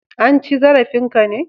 An ci zarafin ka ne?